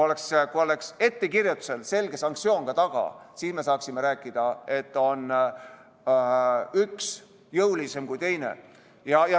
Kui ettekirjutusel oleks selge sanktsioon taga, siis me saaksime rääkida, et üks on jõulisem kui teine.